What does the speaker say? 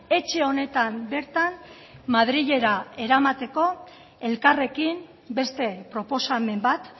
etxe honetan bertan madrilera eramateko elkarrekin beste proposamen bat